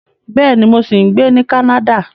Bẹ́ẹ̀ni, mo ṣì ń gbé ní Canada